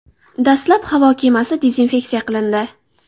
Dastlab havo kemasi dezinfeksiya qilindi.